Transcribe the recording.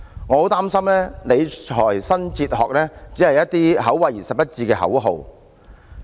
我很擔心，理財新哲學只是一些口惠而實不至的口號。